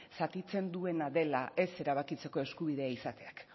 zatitzen duena dela ez erabakitzeko eskubidea izateak